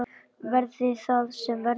Verði það sem verða vill!